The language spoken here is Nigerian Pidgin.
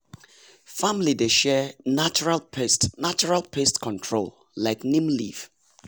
family dey share natural pest natural pest control like neem leaf.